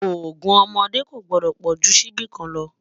ògún ọmọdé kò gbòdó pojú síbí kàn ló